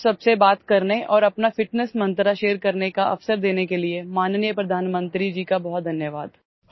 मुझे आप सबसे बात करने औरअपना ଫିଟନେସ୍ मंत्र ଶେୟାର करने का अवसर देने के लिए माननीयप्रधानमंत्री जी का बहुत धन्यवाद